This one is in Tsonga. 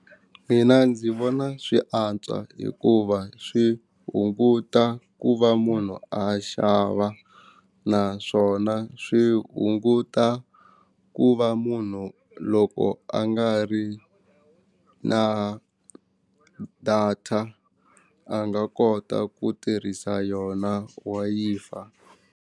Mina ndzi vona swi antswa hikuva swi hunguta ku va munhu a xava naswona swi hunguta ku va munhu loko a nga ri na data a nga kota ku tirhisa yona Wi-Fi.